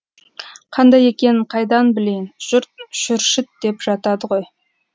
қандай екенін қайдан білейін жұрт шүршіт деп жатады ғой